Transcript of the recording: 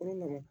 Kolon na